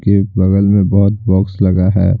के बगल में बहुत बॉक्स लगा है।